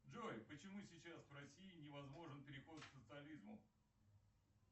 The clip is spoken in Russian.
джой почему сейчас в россии невозможен переход к социализму